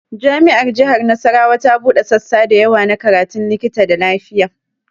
Jami'ar jihar Nasarawa ta buɗe sassa da yawa na karatun likita da lafiya